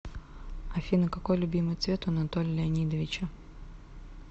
афина какой любимый цвет у анатолия леонидовича